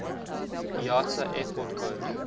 iata airport code